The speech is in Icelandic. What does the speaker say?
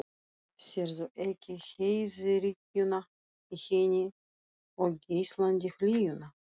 Sérðu ekki heiðríkjuna í henni og geislandi hlýjuna?